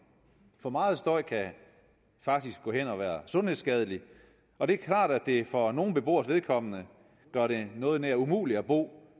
for meget støj kan faktisk gå hen og være sundhedsskadeligt og det er klart at det for nogle beboeres vedkommende gør det noget nær umuligt at bo